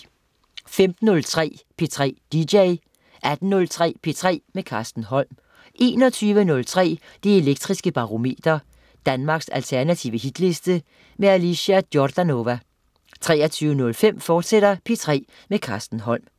15.03 P3 dj 18.03 P3 med Carsten Holm 21.03 Det Elektriske Barometer. Danmarks alternative hitliste. Alicia Jordanova 23.05 P3 med Carsten Holm, fortsat